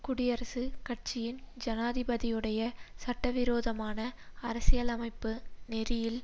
குடியரசுக் கட்சியின் ஜனாதிபதியுடைய சட்டவிரோதமான அரசியலமைப்பு நெறியில்